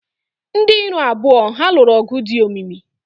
Ndị iro abụọ ha lụrụ ọgụ dị omimi.